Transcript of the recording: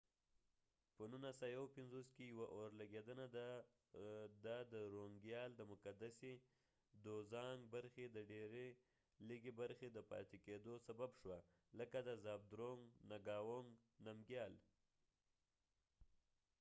په 1951کې ، یوه اورلګیدنه د درونګیال دوزانګ drunkgyal dozong د مقدسی برخی د ډیری لږی برخی د پاتی کېدو سبب شوه ،لکه د زابدرونګ نګاونګ نمګیال zhabdrung ngawang namgyalانځور